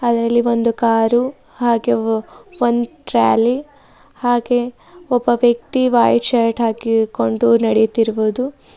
ಅದರಲ್ಲಿ ಒಂದು ಕಾರು ಹಾಗೆ ಒಂದು ಟ್ರಾಲಿ ಹಾಗೆ ಒಬ್ಬ ವ್ಯಕ್ತಿ ವೈಟ್ ಶರ್ಟ್ ಹಾಕಿಕೊಂಡು ನಡಿತಿರಬಹುದು.